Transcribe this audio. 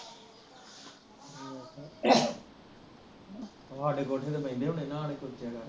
ਤੁਹਾਡੇ ਕੋਠੇ ਤੇ ਬਹਿੰਦੇ ਹੋਣੇ ਨਾਲੇ ਕੁੱਟ ਦੀਆ ਕਰ